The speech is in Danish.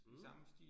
Mh